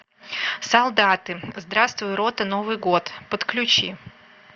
солдаты здравствуй рота новый год подключи